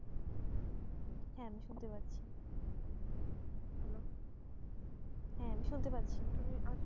হ্যাঁ আমি শুনতে পারছি হ্যাঁ আমি শুনতে পারছি ।